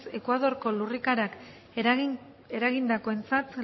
ekuadorko lurrikarak eragindakoentzat